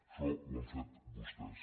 això ho han fet vostès